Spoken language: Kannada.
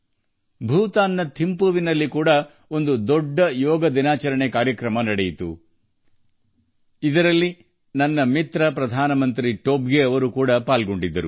ಭೂತಾನ್ನ ಥಿಂಪುವಿನಲ್ಲೂ ಯೋಗ ದಿನಾಚರಣೆಯ ಬೃಹತ್ ಕಾರ್ಯಕ್ರಮ ಆಯೋಜಿಸಲಾಗಿತ್ತು ಇದರಲ್ಲಿ ನನ್ನ ಸ್ನೇಹಿತ ಪ್ರಧಾನಿ ತೊಬ್ಗೆ ಭಾಗವಹಿಸಿದ್ದರು